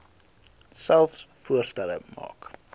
selfs voorstelle maak